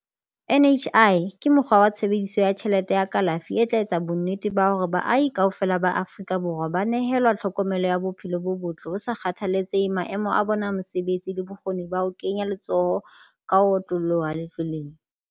NHI ke mokgwa wa tshebe diso ya tjhelete ya kalafi e tla etsang bonnete ba hore baahi kaofela ba Aforika Borwa ba nehelwa tlhokomelo ya bophe lo bo botle ho sa kgathalletse he maemo a bona a mosebetsi le bokgoni ba ho kenya letso ho ka ho otlolloha letlweleng.